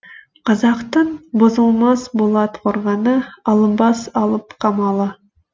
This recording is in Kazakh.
қазақтың бұзылмас болат қорғаны алынбас алып қамалы